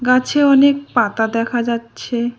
গাছে অনেক পাতা দেখা যাচ্ছে।